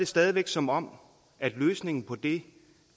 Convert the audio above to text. stadig væk som om løsningen på det